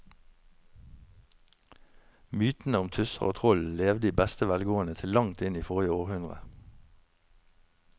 Mytene om tusser og troll levde i beste velgående til langt inn i forrige århundre.